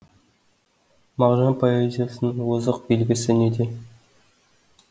мағжан поэзиясының озық белгісі неде